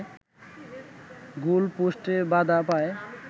গোলপোস্টে বাধা পায়